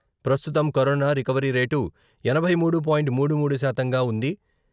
ప్రస్తుతం corona recovery rate ఎనభై మూడు పాయింట్ మూడు మూడు శాతంగా ఉంది.